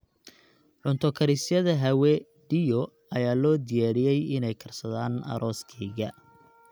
Cunto karisyada Hawe Dio ayaa loo diyaariyey inay karsadaan arooskayga